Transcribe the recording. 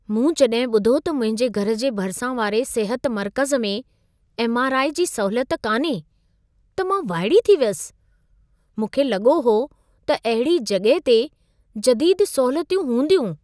मूं जॾहिं ॿुधो त मुंहिंजे घर जे भरिसां वारे सिहत मर्कज़ में एम.आर.आई. जी सहूलियत कान्हे, त मां वाइड़ी थी वियसि। मूंखे लॻो हो त अहिड़ी जॻहि ते जदीद सहूलियतूं हूंदियूं।